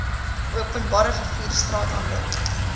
openbare vervoer straathandel